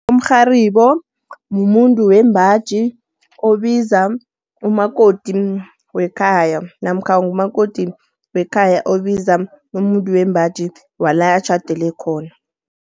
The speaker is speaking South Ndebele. Umrharibo mumuntu wembaji, obiza umakoti wekhaya. Namkha ngumakoti wekhaya, obiza umuntu wembaji wala atjhadele khona.